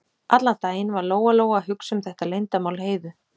Allan daginn var Lóa-Lóa að hugsa um þetta leyndarmál Heiðu.